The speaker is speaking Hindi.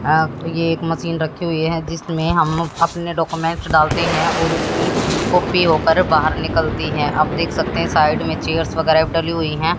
ये एक मशीन रखी हुई जिसमें हम अपने डॉक्यूमेंट डालते हैं और उसकी कॉपी होकर बाहर निकलती है आप देख सकते हैं साइड में चेयर्स वगैरह भी डली हुई है।